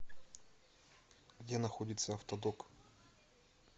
где находится автодок